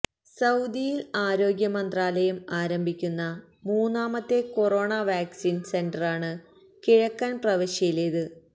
സൌദിയിൽ ആരോഗ്യ മന്ത്രാലയം ആരംഭിക്കുന്ന മൂന്നാമത്തെ കൊറോണ വാക്സിൻ സെന്ററാണ് കിഴക്കൻ പ്രവിശ്യയിലെത്